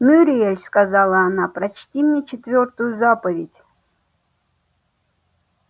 мюриель сказала она прочти мне четвёртую заповедь